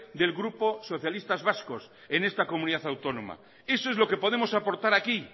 del grupo socialistas vascos en esta comunidad autónoma eso es lo que podemos aportar aquí